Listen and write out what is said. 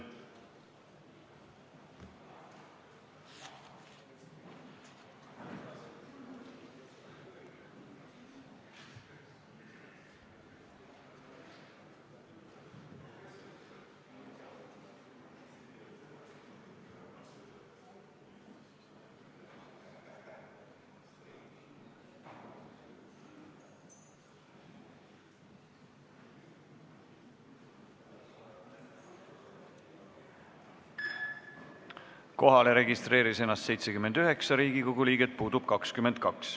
Kohaloleku kontroll Kohalolijaks registreeris ennast 79 Riigikogu liiget, puudub 22.